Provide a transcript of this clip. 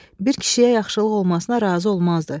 Bir kişiyə yaxşılıq olmasına razı olmazdı.